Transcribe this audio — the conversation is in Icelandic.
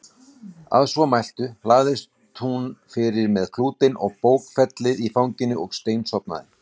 Að svo mæltu lagðist hún fyrir með klútinn og bókfellið í fanginu og steinsofnaði.